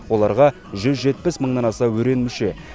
оларға жүз жетпіс мыңнан аса өрен мүше